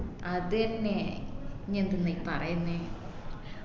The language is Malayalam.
അത് എന്നെ നീ എന്തിന്ന ഈ പറയുന്ന്